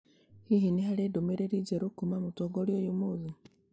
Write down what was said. Hihi nĩ harĩ ndũmĩrĩri njerũ kuuma kũrĩ mũtongoria ũyũ ũmũthĩ?